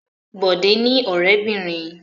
Bọ̀dé ní ọ̀rẹ́bìnrin.